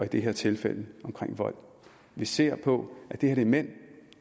det her tilfælde omkring vold vi ser på at det her er mænd